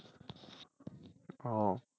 ও